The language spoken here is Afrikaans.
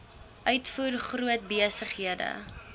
uitvoer groot besighede